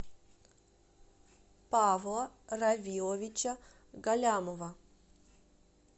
павла равиловича галлямова